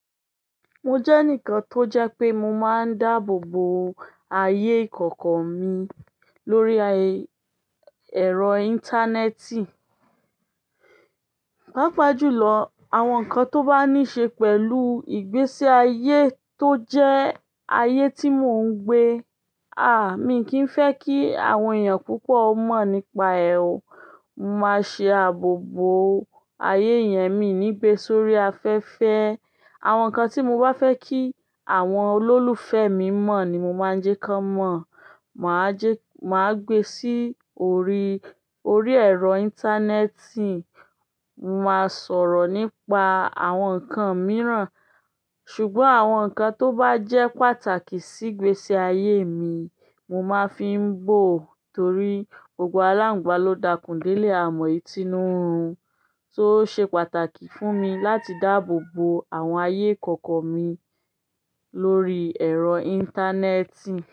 Mo jẹ́ enikan tó jẹ́ pé mo máa ń dáàbò bo ayé ìkọ̀kọ̀ mi lórí ẹ̀rọ íńtánẹ́ẹ̀tì. Pápa jù lọ, àwọn nǹkan tó bá ní ṣe pẹ̀lú ìgbésí ayé tó jẹ́ ayé tí mò ń gbé. Àá, mi kì í fẹ́ kí àwọn èèyàn púpọ̀ mọ̀ nípa ẹ̀ o. Mo máa ṣe ààbò bo ayé yẹn, mi ò ní gbé e sórí afẹ́fẹ́. Àwọn nǹkan tí mo bá fẹ́ kí àwọn olólùfẹ́ mi mọ̀ ni mo máa jẹ́ ká mọ̀. Màá gbé sí orí, orí ẹ̀rọ íńtánẹ́ẹ̀tì. Mo máa sọ̀rọ̀ nípa àwọn nǹkan mìíràn. Ṣùgbọ́n àwọn nǹkan tó bá jẹ́ pàtàkì sí ìgbésí ayé mi, mo máa fi ń bò ó torí gbogbo aláǹgbá ló dakùn dé lé à mọ ìtínú rún. So o ṣe pàtàkì fún mi láti dáàbò bo àwọn ayé ìkọ̀kọ̀ mi lórí ẹ̀rọ íńtánẹ́ẹ̀tì.